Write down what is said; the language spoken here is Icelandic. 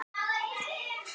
Lækkar róminn.